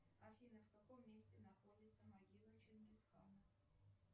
афина в каком месте находится могила чингисхана